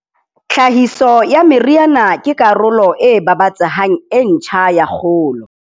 Tlhahiso ya meriana ke karolo e babatsehang e ntjha ya kgolo.